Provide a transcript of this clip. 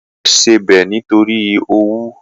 Ìyàwó rẹ̀ ṣe bẹ́ẹ̀ nítorí owú